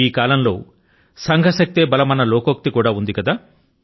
ఈ కాలం లో సంఘ శక్తే బలమన్న లోకోక్తి ఉంది కదా